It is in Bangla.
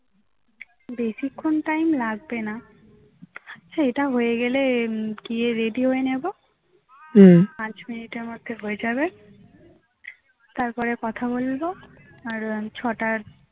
বেশিক্ষণ time লাগবে না হচ্ছে এটা হয়ে গেলে গিয়ে ready হয়ে নেবো পাঁচ মিনিট এর মধ্যে হয়ে যাবে তারপরে কথা বলবো আর ছয় টার